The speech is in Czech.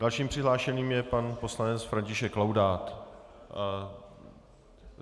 Dalším přihlášeným je pan poslanec František Laudát.